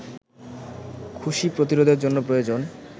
খুশি প্রতিরোধের জন্য প্রয়োজন